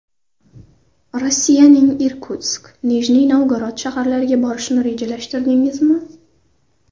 Rossiyaning Irkutsk, Nijniy Novgorod shaharlariga borishni rejalashtirdingizmi?